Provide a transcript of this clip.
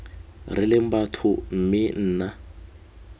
re leng batho mme nna